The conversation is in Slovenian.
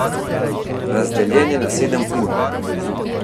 Razdeljen je na sedem ur.